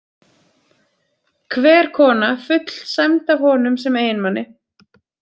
Hver kona fullsæmd af honum sem eiginmanni.